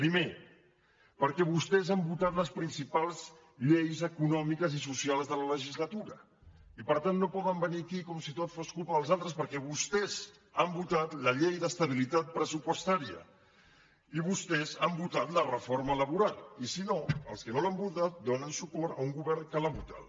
primer perquè vostès han votat les principals lleis econòmiques i socials de la legislatura i per tant no poden venir aquí com si tot fos culpa dels altres perquè vostès han votat la llei d’estabilitat pressupostària i vostès han votat la reforma laboral i si no els que no l’han votat donen suport a un govern que l’ha votada